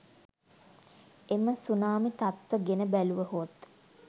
එම සුනාමි තත්ත්ව ගෙන බැලූවහොත්